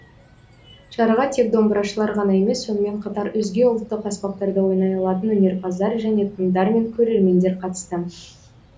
шараға тек домбырашылар ғана емес сонымен қатар өзге ұлттық аспаптарда ойнай алатын өнерпаздар және тыңдармен көрермендер қатысты